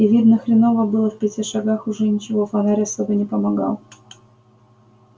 и видно хреново было в пяти шагах уже ничего фонарь особо не помогал